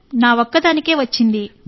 నా ఒక్కదానికే వచ్చింది